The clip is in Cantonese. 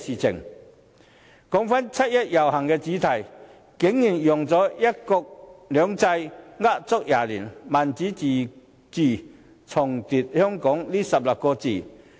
說到七一遊行的主題，今年竟然用到"一國兩制呃足廿年；民主自治，重奪香港"這16個字。